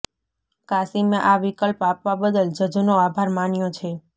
કાસિમે આ વિકલ્પ આપવા બદલ જજનો આભાર માન્યો છે